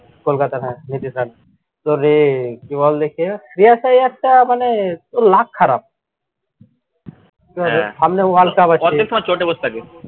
কলকাতার হ্যাঁ তোর এই কি বলে কে শ্রিয়াস আইয়ারটা মানে ওর luck খারাপ। সামনে world cup আসছে